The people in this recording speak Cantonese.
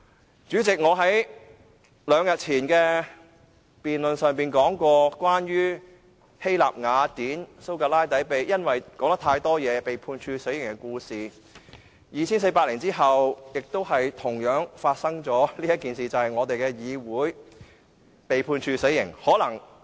代理主席，我在兩天前的辯論說過關於希臘雅典蘇格拉底因為說話太多而被判處死刑的故事 ，2,400 年後亦同樣發生這件事，就是我們的議會被判處死刑。